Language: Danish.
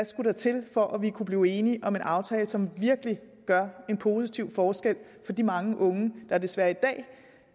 skulle til for at vi kunne blive enige om en aftale som virkelig gør en positiv forskel for de mange unge der desværre i dag